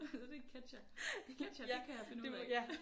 Det er ketsjer. Ketsjer det kan jeg finde ude af